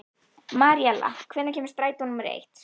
Maríella, hvenær kemur strætó númer eitt?